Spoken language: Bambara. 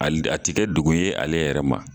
Hali a ti kɛ dogo ye ale yɛrɛ ma.